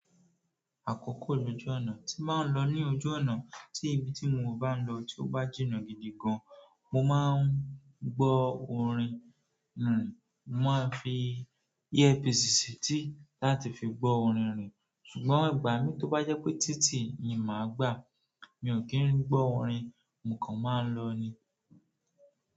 Àkókò lójú ọ̀nà. Tí mbáa ń lọ ní ojú ọ̀nà tí ibi tí mo bá ń lọ tí ó bá jìnnà gidi gan, mo máa ń gbọ́ orin nrin. Mo máa ń fi ear piece si etí láti fi gbọ́ orin nrin. Ṣùgbọ́n ìgbà mi tó bá jẹ́ pé títì ni màá gbà, mi ò kí ń gbọ́ ọ̀rin, mo kan máa ń lọ ni.